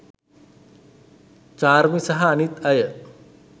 චාර්මි සහ අනිත් අය